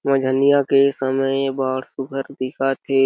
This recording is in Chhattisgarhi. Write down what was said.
के समय बाढ़ सुघर दिखत हे।